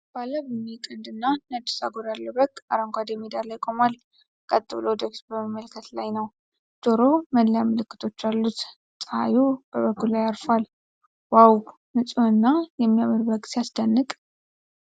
ባለ ቡኒ ቀንድና ነጭ ጸጉር ያለው በግ አረንጓዴ ሜዳ ላይ ቆሟል። ቀጥ ብሎ ወደ ፊት በመመልከት ላይ ነው። ጆሮው ላይ መለያ ምልክቶች አሉት። ፀሐይ በበጉ ላይ አርፏል። "ዋው! ንፁህና የሚያምር በግ ሲያስደንቅ!"